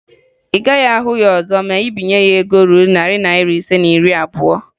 Ị gaghị ahụ ya ọzọ ma ị binye ya ego ruru narị naịra ise na iri abụo